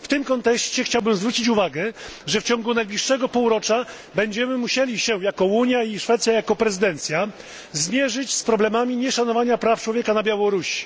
W tym kontekście chciałbym zwrócić uwagę, że w ciągu najbliższego półrocza będziemy musieli my jako Unia i Szwecja jako prezydencja zmierzyć się z problemami nieszanowania praw człowieka na Białorusi.